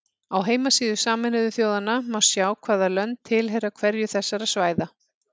Á heimasíðu Sameinuðu þjóðanna má sjá hvaða lönd tilheyra hverju þessara svæða.